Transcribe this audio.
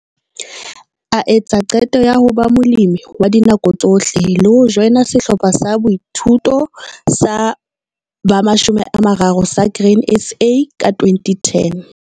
A etsa qeto ya ho ba molemi wa dinako tsohle le ho joina Sehlopha sa Boithuto sa ba 30 sa Grain SA ka 2010.